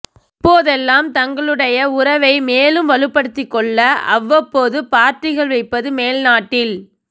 இப்போதெல்லாம் தங்களுடேய உறவை மேலும் வலுப்படுத்திக்கொள்ள அவ்வப்போது பார்ட்டிகள் வைப்பது மேல்நாட்டில்